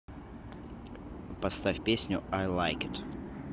поставь песню ай лайк ит